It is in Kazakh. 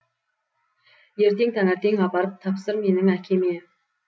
ертең таңертең апарып тапсыр менің әкеме